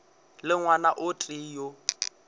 le ngwana o tee yo